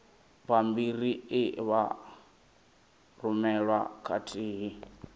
bammbiri e vha rumelwa khathihi